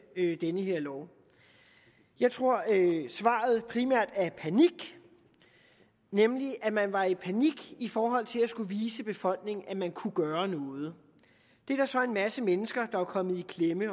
den her lov jeg tror at svaret primært er panik nemlig at man var i panik i forhold til at skulle vise befolkningen at man kunne gøre noget det er der så en masse mennesker der er kommet i klemme af